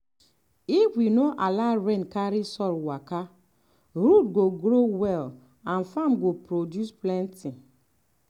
if we no allow rain carry soil waka root go grow well and farm go produce plenty.